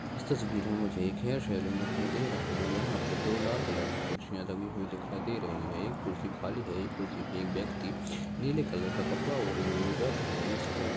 इस तस्वीर में मुझे एक हेयर सैलून दिखाई दे रहा है जहां पे दो लाल कलर की कुर्सियाँ रंगी हुई दिखाई दे रही हैं। एक कुर्सी खाली है एक कुर्सी पे एक व्यक्ति नीले कलर का कपड़ा ओढ़े हुए बैठा है जिसके --